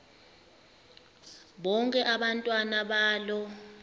bonke abantwana balo